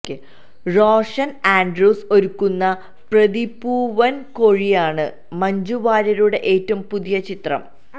റോഷന് ആന്ഡ്രൂസ് ഒരുക്കുന്ന പ്രതിപൂവന്കോഴിയാണ് മഞ്ജു വാര്യരുടെ ഏറ്റവും പുതിയ ചിത്രം